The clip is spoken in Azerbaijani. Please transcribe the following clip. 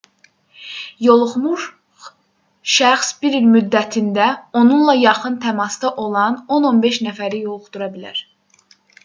yoluxmuş şəxs bir il müddətində onunla yaxın təmasda olan 10-15 nəfəri yoluxdura bilər